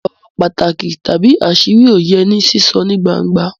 Ọ̀rọ̀ pàtàkì tàbí àṣírí ò yẹ ní sísọ ní gbangba